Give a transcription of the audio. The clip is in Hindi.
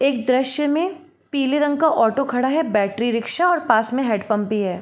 एक द्रश्य में पीले रंग का ऑटो खड़ा है बैटरी रिक्शा और पास में हेड पम्प भी है।